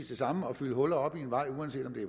det samme at fylde huller op i en vej uanset om det